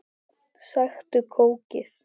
Sæktu kókið.